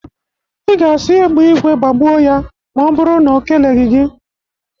Ị ga-asị egbe igwe gbagbuo ya ma ọ bụrụ na o keleghi gị.